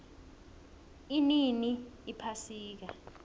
inini iphasika